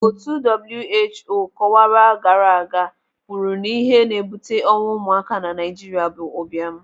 Otu WHO kọwara gaara aga kwuru na ihe na-ebute ọnwụ ụmụaka na Naijiria bụ ụbịam.